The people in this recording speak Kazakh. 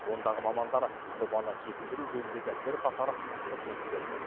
ондағы мамандар жобаны жетілдіру жөніндегі бірқатар ұсыныс берген